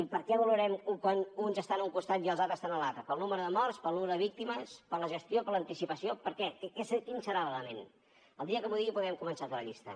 i per què valorem quan uns estan a un costat i els altres estan a l’altre pel nombre de morts pel nombre de víctimes per la gestió per l’anticipació per què quin serà l’element el dia que m’ho digui podrem començar a fer la llista